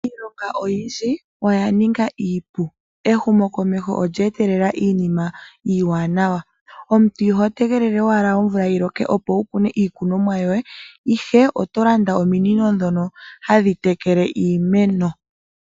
Iilonga iyindji oya ninga iipu. Ehumo ko meho olya etelela iinima iiwanawa. Omuntu iho te gelele owa omvula yi loke, opo wu kune iikunwomwa yoye, ihe oto landa ominino ndhono hadhi takele iimeno.